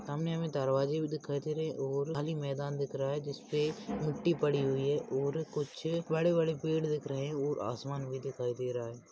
सामने हमे दरवाजे भी दिखाई दे रहे और खाली मैदान दिख रहा है जिसपे मिट्ठी पड़ी हुई है और कुछ बड़े बड़े पेड़ दिख रहे है और आसमान भी दिखाई दे रहा है।